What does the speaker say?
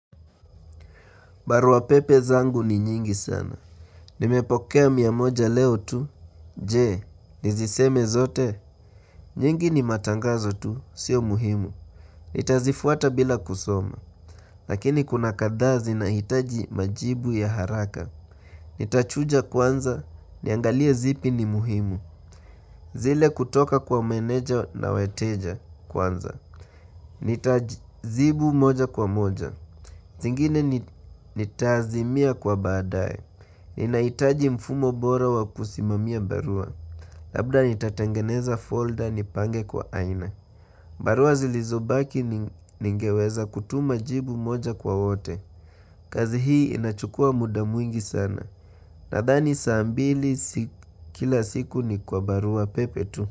Barua pepe zangu ni nyingi sana. Nimepokea mia moja leo tu. Je, niziseme zote. Nyingi ni matangazo tu. Sio muhimu. Nitazifuata bila kusoma. Lakini kuna kadhaa zinahitaji majibu ya haraka. Nitachuja kwanza. Niangalie zipi ni muhimu. Zile kutoka kwa meneja na wateja kwanza. Nitazibu moja kwa moja. Zingine nitaazimia kwa baadaye. Ninahitaji mfumo bora wa kusimamia barua Labda nitatengeneza folder nipange kwa aina barua zilizobaki ningeweza kutuma jibu moja kwa wote kazi hii inachukua muda mwingi sana Nadhani saa mbili kila siku ni kwa barua pepe tu.